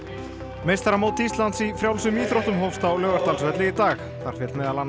meistaramót Íslands í frjálsum íþróttum hófst á Laugardalsvelli í dag þar féll meðal annars